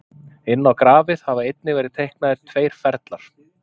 inn á grafið hafa einnig verið teiknaðir tveir ferlar